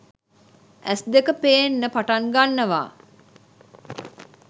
ඇස් දෙක පේන්න පටන් ගන්නවා